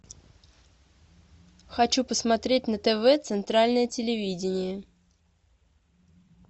хочу посмотреть на тв центральное телевидение